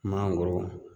Mangoro